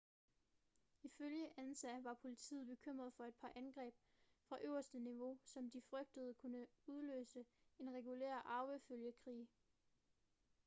ifølge ansa var politiet bekymret for et par angreb fra øverste niveau som de frygtede kunne udløse en regulær arvefølgekrig